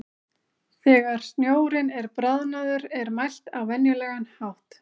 Þegar snjórinn er bráðnaður er mælt á venjulegan hátt.